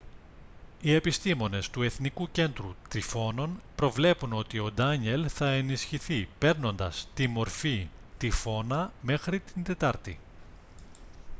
οι επιστήμονες του εθνικού κέντρου τυφώνων προβλέπουν ότι ο ντάνιελ θα ενισχυθεί παίρνοντας τη μορφή τυφώνα μέχρι την τετάρτη